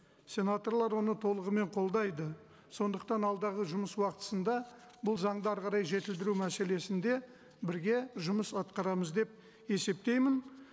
сенаторлар оны толығымен қолдайды сондықтан алдағы жұмыс уақытысында бұл заңды әрі қарай жетілдіру мәселесінде бірге жұмыс атқарамыз деп есептеймін